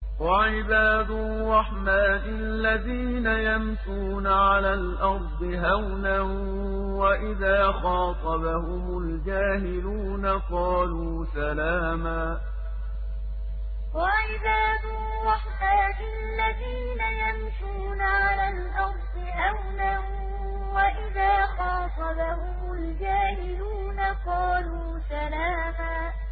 وَعِبَادُ الرَّحْمَٰنِ الَّذِينَ يَمْشُونَ عَلَى الْأَرْضِ هَوْنًا وَإِذَا خَاطَبَهُمُ الْجَاهِلُونَ قَالُوا سَلَامًا وَعِبَادُ الرَّحْمَٰنِ الَّذِينَ يَمْشُونَ عَلَى الْأَرْضِ هَوْنًا وَإِذَا خَاطَبَهُمُ الْجَاهِلُونَ قَالُوا سَلَامًا